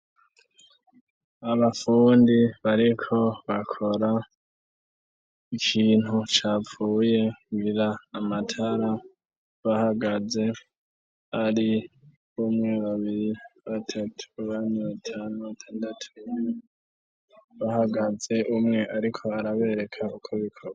Abafundi bariko bakora ikintu capfuye ngira amatara bahagaze ari umwe, babiri, batatu, bane, batanu, batandatu bahagaze umwe ariko arabereka uko bikorwa.